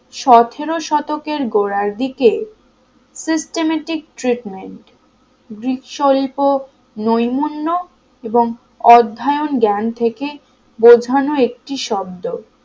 সতেরো শতকের গোড়ার দিকে systematic treatment . নৈমুন্ন এবং অধ্যায়ান জ্ঞান থেকে বোঝানো একটি শব্দ